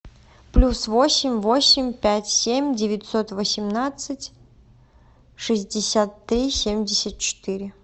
плюс восемь восемь пять семь девятьсот восемнадцать шестьдесят три семьдесят четыре